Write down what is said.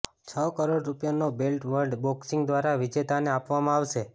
છ કરોડ રૂપિયાનો belt world boxing દ્વારા વિજેતાને આપવામાં આવશે